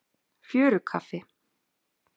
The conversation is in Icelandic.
Fjörukaffi